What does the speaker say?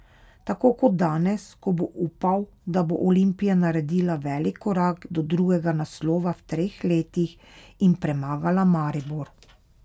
Tako kot danes, ko bo upal, da bo Olimpija naredila velik korak do drugega naslova v treh letih in premagala Maribor.